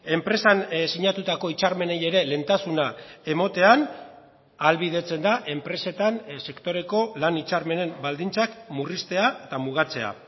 enpresan sinatutako hitzarmenei ere lehentasuna ematean ahalbidetzen da enpresetan sektoreko lan hitzarmenen baldintzak murriztea eta mugatzea